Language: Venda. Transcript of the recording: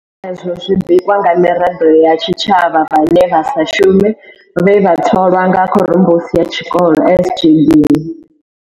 Izwo zwi bikwa nga miraḓo ya tshitshavha vhane vha sa shume vhe vha tholwaho nga khorombusi ya tshikolo SGB.